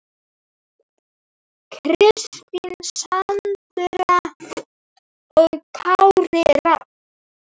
Kristín Sandra og Kári Rafn.